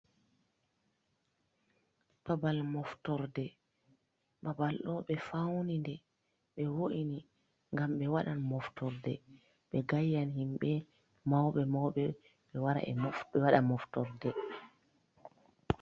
Babal moftorde, babal ɗo ɓe fauni nde, ɓe wo’ini gam ɓe waɗan moftorde, ɓe gayyan himɓe mauɓe mauɓe ɓe waɗan moftorde.